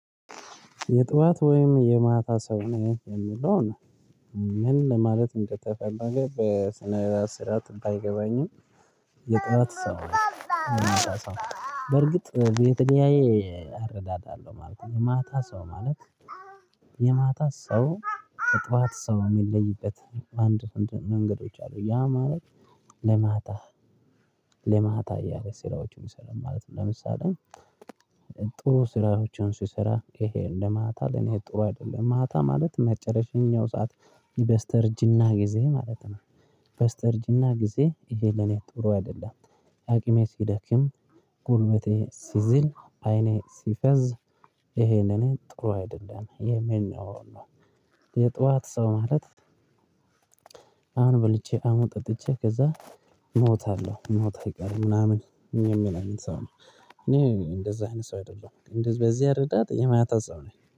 የጥዋት ወይም የማታ ሰው ነህ የምለው ነው። ምን ለማለት እንደተፈለገ በስነ ስርዓት ባይገባኝም። የጥረት ሰው ነው የማታ ሰው በርግጥ የተለያየ አረዳድ አለ ማለት ነው። የማታ ሰው ማለት የማታ ሰው። ከጠዋት ሰው የሚለይበት አንድ መንገዶች አሉ ያ ማለት። ለማታ ለማታ እያለ ስራዎችን ይሰራል ማለት ነው። ለምሳሌ ጥሩ ስራዎችን ሲሰራ ይሄ እንደማህታ ለኔ ጥሩ አይደለም ማታ ማለት መጨረሻው የኛው ሰዓት በስተርጅና ጊዜ ማለት ነው። የበስተርጅና ጊዜ ይሄ ለኔ ጥሩ አይደለም። አቅሜ ሲደክም ጉልበቴ ሲዝል አይኔ ሲፈዝ ይሄንን ጥሩ አይደለም የመነው ነው። የጧት ሰው ማለት አሁን በልቼ አሞጥ ጠጥቼ ከዛ ሞታለሁ ሞት አይቀርም ምናምን የሚለው ሰው ነው። እኔ እንደዛ ሰው አይደለም እንደዚህ በዚህ እርዳታ የማታ ሰው ነኝ